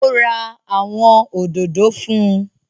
Ó ra àwọn òdòdó fún